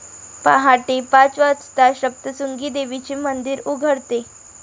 पाहटे पाच वाजता सप्तशृंगी देवीचे मंदिर उघडते.